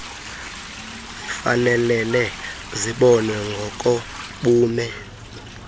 zifanelele zibonwe ngokobume